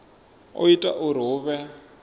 o ita uri hu vhe